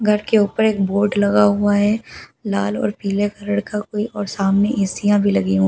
घर के ऊपर एक बोर्ड लगा हुआ है लाल और पीले कलर का कोई और सामने ऐसियां भी लगी हुई हैं ।